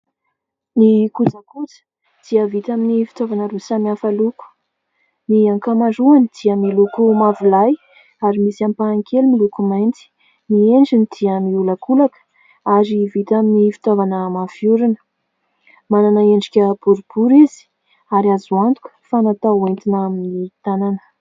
Ny kojakoja dia vita amin'ny fitaovana roa samy hafa loko ; ny ankamaroany dia miloko mavolahy ary misy ampahany kely miloko mainty. Ny endriny dia miolakolaka ary vita amin'ny fitaovana mafy orina. Manana endrika boribory izy ary azo antoka fa natao ho entina amin'ny tanana.